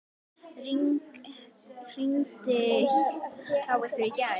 Rigndi hjá ykkur í gær?